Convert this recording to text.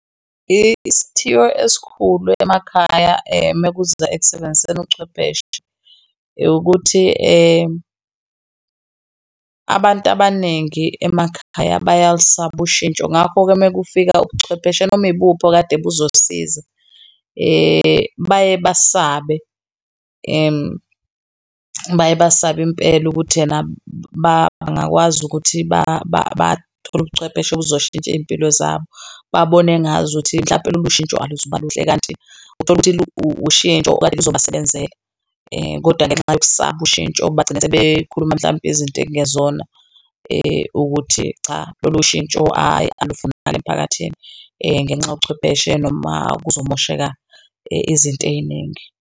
Isithiyo esikhulu emakhaya mekuza ekusebenziseni ubuchwepheshe ukuthi abantu abaningi emakhaya bayalisaba ushintsho, ngakho-ke mekufika ubuchwepheshe noma imuphi okade kuzosiza. Baye basabe baye basabe impela ukuthi ena bangakwazi ukuthi bathole ubuchwepheshe obuzoshintsha izimpilo zabo, babone ngazuthi mhlawumpe lolu shintsho aluzoba luhle, kanti uthole ukuthi ushintsho okade luzobasebenzela. Kodwa ngenxa yokusaba ushintsho bagcine sebekhuluma mhlambe izinto okungezona ukuthi cha, lolu shintsho hhayi alufunakali emiphakathini ngenxa yobuchwepheshe noma kuzomosheka izinto ey'ningi.